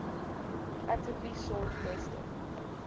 actively sought western